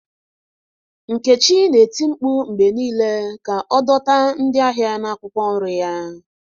Nkechi na-eti mkpu mgbe niile ka ọ dọta ndị ahịa na akwụkwọ nri ya.